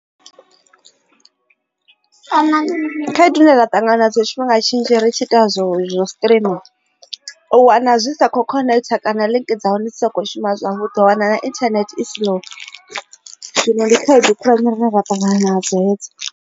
Kana khaedu ine ra ṱangana na dzo tshifhinga tshinzhi ri tshi ita zwo izwo streamer u wana zwi sa kho connect kana link dza hone soko shuma u ḓo wana na internet i slow zwino ndi khaedu khulwane dzine ra ṱangana nadzo hedzo.